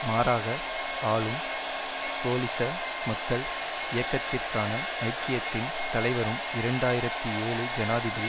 மாறாக ஆளும் கோலிச மக்கள் இயக்கத்திற்கான ஐக்கியத்தின் தலைவரும் இரண்டு ஆயிரத்தி ஏழு ஜனாதிபதி